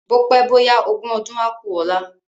Bópé bóyá ogún ọdún á ku ọ̀la